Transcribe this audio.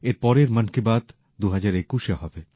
এর পরের মন কী বাত ২০২১এ হবে